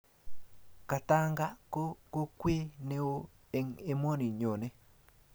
Katanga ko kokwee ne oo eng emoni nyone.